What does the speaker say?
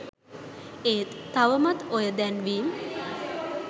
ඒත් තවමත් ඔය දැන්වීම්